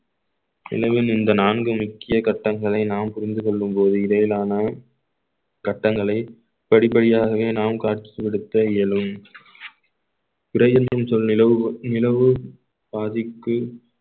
எனவே இந்த நான்கு முக்கிய கட்டங்களை நாம் புரிந்து கொள்ளும் போது இடையிலான கட்டங்களை படிப்படியாகவே நாம் காட்சிப்படுத்த இயலும் பிறை என்றும் சொல் நிலவுவோர் நிலவு பாதிக்கு